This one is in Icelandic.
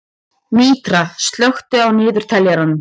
Mítra, slökktu á niðurteljaranum.